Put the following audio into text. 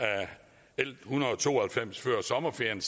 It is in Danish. l en hundrede og to og halvfems før sommerferien